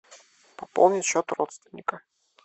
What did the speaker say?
пополнить счет родственника